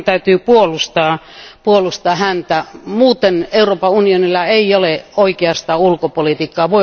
Meidän täytyy puolustaa häntä, muuten Euroopan unionilla ei ole oikeastaan ulkopolitiikkaa.